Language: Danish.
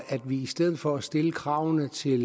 vi i stedet for at stille kravet til